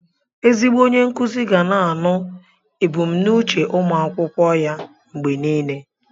Ezigbo onye nkuzi ga na-anụ ebùmnúchè ụmụ akwụkwọ ya mgbe niile